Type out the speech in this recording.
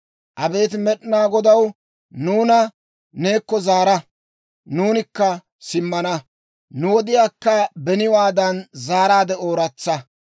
Abeet Med'inaa Godaw, nuuna neekko zaara; nuunikka simmana! Nu wodiyaakka beniwaadan zaaraadde ooratsa!